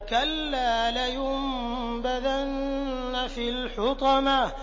كَلَّا ۖ لَيُنبَذَنَّ فِي الْحُطَمَةِ